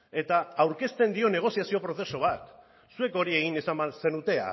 eta aurkezten dion negoziazio prozesu bat zuek hori egin izan bazenute